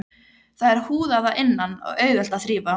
Það er húðað að innan og auðvelt að þrífa.